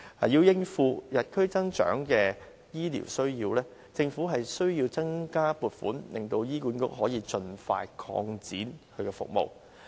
要應付與日俱增的醫療需要，政府必須增加撥款，令醫管局可以盡快擴展其服務。